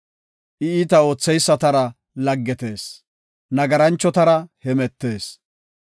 I iita ootheysatara laggetees; nagaranchotara hemetees.